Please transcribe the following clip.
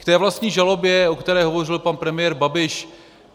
K té vlastní žalobě, o které hovořil pan premiér Babiš.